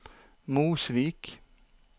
Mosvik